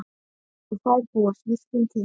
Og þær búa smyrslin til.